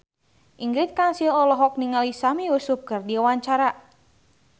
Ingrid Kansil olohok ningali Sami Yusuf keur diwawancara